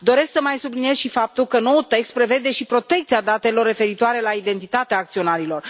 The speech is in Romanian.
Doresc să mai subliniez și faptul că noul text prevede și protecția datelor referitoare la identitatea acționarilor.